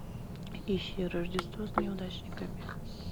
ищи рождество с неудачниками